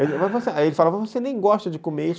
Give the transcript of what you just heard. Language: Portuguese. Aí ele falava, você nem gosta de comer isso.